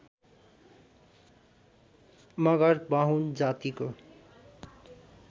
मगर बाहुन जातीको